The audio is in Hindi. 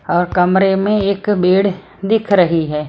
और कमरे में एक बेड दिख रही है।